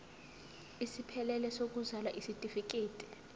esiphelele sokuzalwa isitifikedi